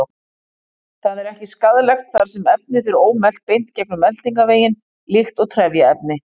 Það er ekki skaðlegt þar sem efnið fer ómelt beint gegnum meltingarveginn líkt og trefjaefni.